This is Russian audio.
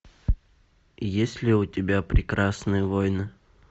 есть ли у тебя прекрасные войны